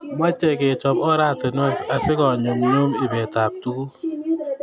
Mochei kechop oratinwek asikonyumnyum ibetap tuguk